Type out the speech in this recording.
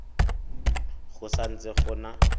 go sa ntse go na